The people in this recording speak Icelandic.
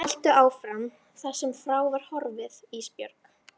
Haltu áfram þar sem frá var horfið Ísbjörg.